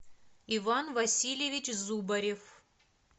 иван васильевич зубарев